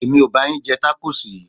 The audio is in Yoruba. Èmi ò ba yín jẹ tákóòsì yìí.